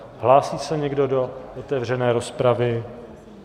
Hlásí se někdo do otevřené rozpravy?